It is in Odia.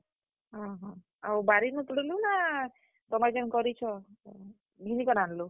ଅଁହୋ, ଆଉ ବାରିନୁ ତୁଲ୍ଲୁ ନାଁ, ତୁମେ ଯେନ୍ କରିଛ ଘିନି କରି ଆନ୍ ଲୁ?